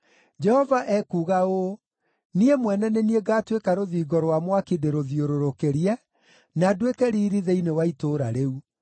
Jehova ekuuga ũũ, ‘Niĩ mwene nĩ niĩ ngaatuĩka rũthingo rwa mwaki ndĩrĩthiũrũrũkĩrie, na nduĩke riiri thĩinĩ wa itũũra rĩu.’ ”